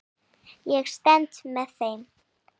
Ég stend með þeim.